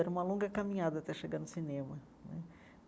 Era uma longa caminhada até chegar no cinema né.